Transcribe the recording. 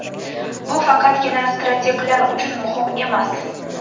Bu faqatgina strateglar uchun muhim emas.